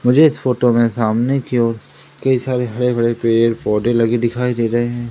मुझे इस फोटो में सामने की ओर कई सारे हरे भरे पेड़ पौधे लगी दिखाई दे रहे हैं।